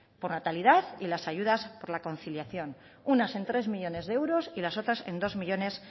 por natalidad y las ayudas por la conciliación unas en tres millónes de euros y las otras en dos coma cinco